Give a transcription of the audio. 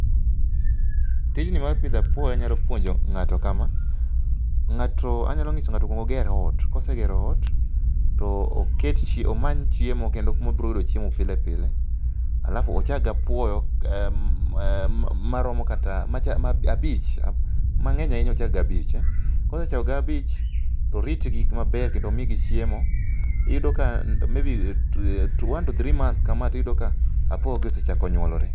Tijni mar pidho apuoyo anyalo puonjo ng'ato kama, anyalo ng'iso ng'ato okwong oger ot. kosegero ot, to omany chiemo kendo kuma obro yudo chiemo pile pile, alafu ochak gi apuoyo abich, mang'eny ahinya ochak gi abich. Kosechako gi abich, to oritgi maber kendo omigi chiemo . Iyudo ka maybe one to three months kama tiyudo ka apuoyogi osechako nyuolore.